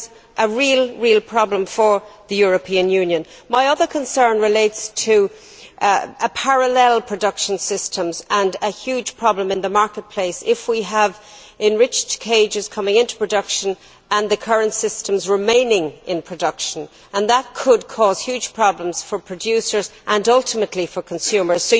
This is a very real problem for the European Union. My other concern relates to parallel production systems and a huge problem in the marketplace if we have enriched cages coming into production while the current systems remain in production. That could cause major problems for producers and, ultimately, for consumers.